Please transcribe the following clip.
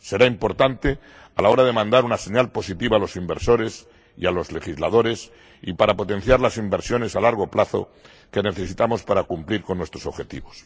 Será importante a la hora de mandar una señal positiva a los inversores y a los legisladores y para potenciar las inversiones a largo plazo que necesitamos para cumplir con nuestros objetivos.